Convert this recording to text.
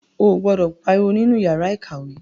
O gbọdọ pariwo nínú yàrá ìkàwé.